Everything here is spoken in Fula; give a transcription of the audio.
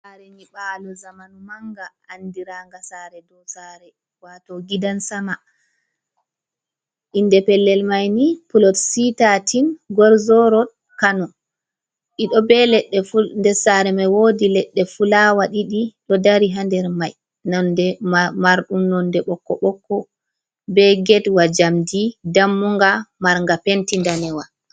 Sare nyiɓalo zamanu manga andiranga sare dow sare wato gidans ama inde pellel mai ni plot C 13 Gworzo rod Kano. Ɗi ɗo be leɗɗe nder sare mai wodi leɗɗe fulawa ɗiɗi ɗo dari ha nder mai mande marɗum nonde ɓokko ɓokko be getwa jamdi dammunga marnga penti danewa.